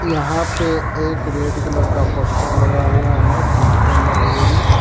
यहां पे एक रेड कलर का पोस्टर लगा हुआ है डिजिटल लाइब्रेरी ।